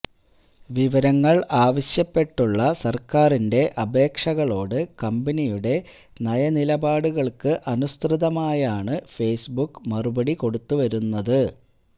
വിവരങ്ങള് ആവശ്യപ്പെട്ടുള്ള സര്ക്കാരിന്റെ അപേക്ഷകളോട് കമ്പനിയുടെ നയനിലപാടുകള്ക്ക് അനുസൃതമായാണ് ഫേസ്ബുക്ക് മറുപടി കൊടുത്തുവരുന്നത്